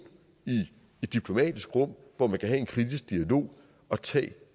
i et diplomatisk rum hvor man kan have en kritisk dialog og tage